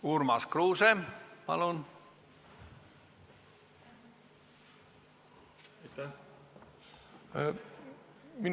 Urmas Kruuse, palun!